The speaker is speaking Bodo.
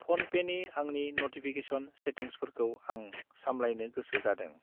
फ'नपेनि आंनि नटिफिकेसन सेथिंग्सफोरखौ आं सामलायनो गोसो जादों।